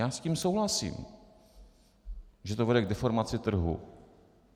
Já s tím souhlasím, že to vede k deformaci trhu.